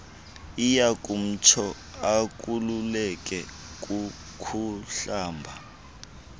iyakumtsho akhululeke kukuhlamba